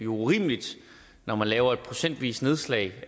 urimeligt når man laver et procentvist nedslag